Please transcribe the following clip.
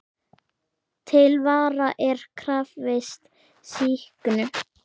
Til vara er krafist sýknu.